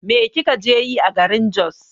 Me kika je yi a garin Jos?